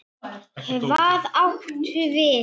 Hvað áttu við?